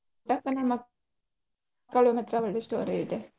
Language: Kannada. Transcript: ಪುಟ್ಟಕ್ಕನ ಮಕ್ಕಳು ಮಾತ್ರ ಒಳ್ಳೆ story ಇದೆ.